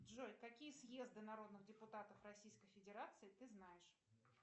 джой какие съезды народных депутатов российской федерации ты знаешь